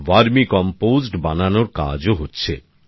ভারমি compost বানানোর কাজও হচ্ছে